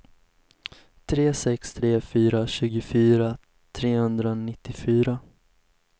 tre sex tre fyra tjugofyra trehundranittiofyra